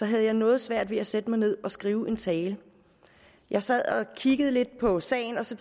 jeg noget svært ved at sætte mig ned og skrive en tale jeg sad og kiggede lidt på sagen og så